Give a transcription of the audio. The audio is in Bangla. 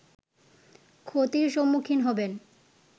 ক্ষতির সম্মুখীন হবেন